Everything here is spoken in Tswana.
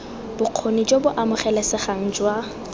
bokgoni jo bo amogelesegang jwa